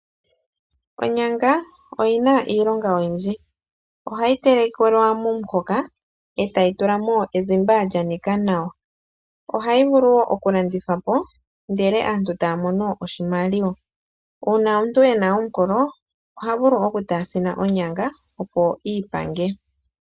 Onyanga oyina iilonga oyindji, ohayi telekelwa momuhoka eeta yi tulamo ezimba lya nika nawa, ohayi vulu woo okulandithwapo ndele aantu taya mono oshimaliwa uuna omuntu ena omukolo oha vuli okutaasina onyanga opo iipange.